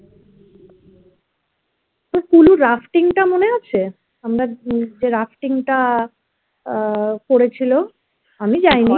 kullu র rafting টা মনে আছে? আমরা যে rafting টা আহ করেছিল আমি যায়নি